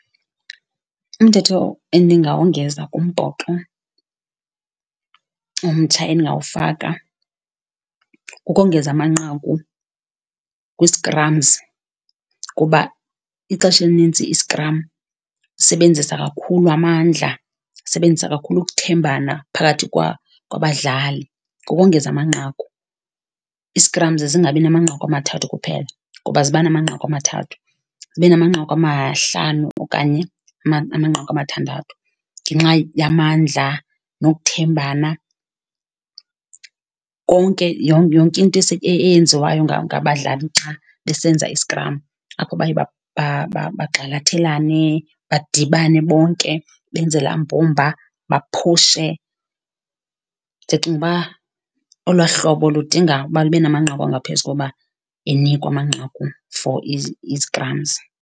Umthetho endingawongeza kumbhoxo omtsha endingawufaka kukongeza amanqaku kwi-scrums, kuba ixesha elinintsi iskram sisebenzisa kakhulu amandla, sisebenzisa kakhulu ukuthembana phakathi kwabadlali. Kukongeza amanqaku, i-scrums zingabi namanqaku amathathu kuphela ngoba ziba namanqaku amathathu, zibe namanqaku amahlanu okanye amanqaku amathandathu. Ngenxa yamandla nokuthembana, konke yonke into eyenziwayo ngabadlali xa besenza iskram, apho baye bagxalathelane, badibane bonke, benze laa mbumba, baphushe. Ndicinga uba olwaa hlobo ludinga uba lube namanqaku angaphezu koba enikwa amanqaku for i-scrums.